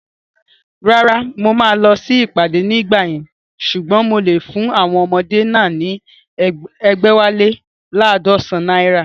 Rárá, mo máa lọ sí ìpàdé ní ìgbà yẹn ṣùgbọ́n mo lè fún àwọn ọmọdé náà ní ẹgbẹ̀wálé laadọsan naira